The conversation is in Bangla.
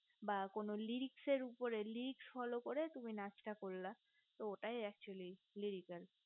বা কোনো radical উপর radical follow করে তুমি একটা নাচ টা করলাতো ওটাই accholy radical